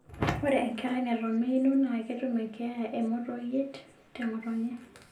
Ore enkerai neton meino naa ketum eenkeeya oo monoyit te ng'otonye.